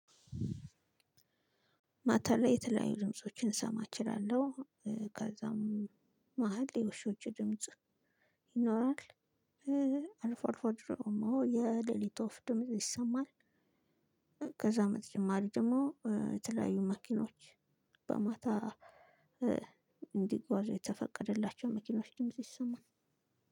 ማታ ላይ የተለያዩ ድምፆችን ልሰማ እችላለሁ። ከዛም መሃል የውሾች ድምጽ ይኖራል። አልፎ አልፎ ደሞ የሌሊት ወፍ ድምጽ ይሰማል። ከዛ በተጨማሪ ደግሞ የተለያዩ መኪኖች በማታ እንዲጓዙ የተፈቀደላቸው መኪኖች ድምጽ ይሰማል።